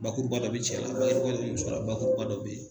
Bakuruba dɔ be cɛ la muso la, bakuruba dɔ be ye